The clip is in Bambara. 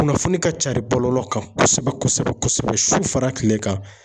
Kunnafoni ka cari bɔlɔlɔ kan kosɛbɛ kosɛbɛ su fara kile kan